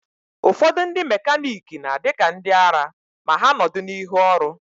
Ụfọdụ ndị mekaniki na-adị ka ndịara ma ha nọdụ n'ihu ọrụ.